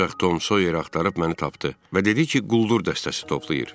Ancaq Tom Soyer axtarıb məni tapdı və dedi ki, quldur dəstəsi toplayır.